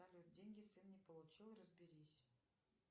салют деньги сын не получил разберись